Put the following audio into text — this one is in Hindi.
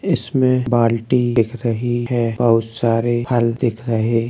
इसमे बाल्टी दिख रही है और सारे फल दिख रहे --